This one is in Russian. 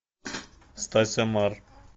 стася мар